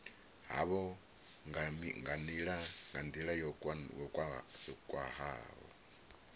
havho nga nila yo khwahaho